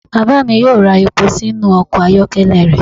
Baba mi yoo ra epo sinu ọkọ ayọkẹlẹ rẹ.